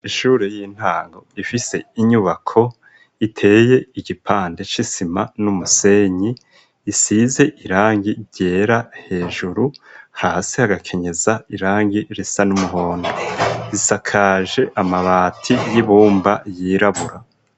Ishure y'intango ifise inyubako iteye igipande c'isima n'umusenyi isize irangi ryera hejuru hasi hagakenyeza irangi risa n'umuhondo isakaje amabati y'ibumba yirabura.